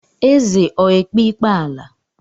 Eze ọ ekpe ikpe ala?